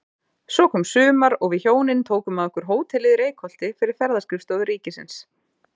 Svo kom sumar og við hjónin tókum að okkur hótelið í Reykholti fyrir Ferðaskrifstofu ríkisins.